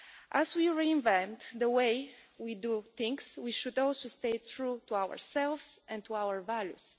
As we reinvent the way we do things, we should also stay true to ourselves and to our values.